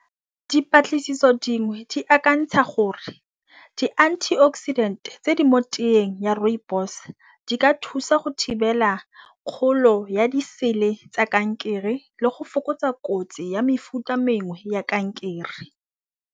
Dipatlisiso dingwe di akantsha gore di-antioxidant tse di mo teng ya rooibos di ka thusa go thibela kgolo ya di sele tsa kankere le go fokotsa kotsi ya mefuta mengwe ya kankere.